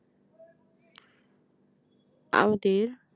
আমাদের